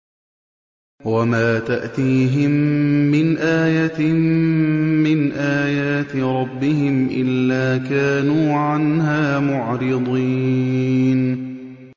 وَمَا تَأْتِيهِم مِّنْ آيَةٍ مِّنْ آيَاتِ رَبِّهِمْ إِلَّا كَانُوا عَنْهَا مُعْرِضِينَ